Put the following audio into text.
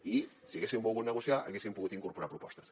i si haguessin volgut negociar hi haguessin pogut incorporar propostes